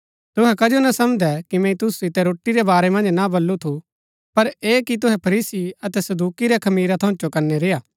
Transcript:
तुहै कजो ना समझदै कि मैंई तुसु सितै रोटी रै बारै मन्ज ना बल्लू थु पर ऐह कि तुहै फरीसी अतै सदूकि रै खमीरा थऊँ चौकनै रेय्आ